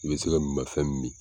I bɛ se ka minmafɛn min min